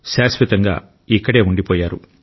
ఎప్పటికీ ఇక్కడే ఉండిపోయారు